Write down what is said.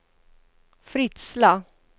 Fritsla